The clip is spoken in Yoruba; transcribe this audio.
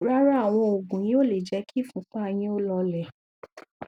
rárá àwọn òògùn yìí ò lè jẹ kí ìfúnpá yín ó lọọlẹ